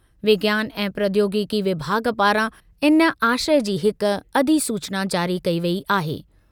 विज्ञान ऐं प्रौद्योगिकी विभाग पारां इन आशय जी हिक अधिसूचना जारी कई वेई आहे।